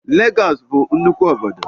Lagos bu nnukwu obodo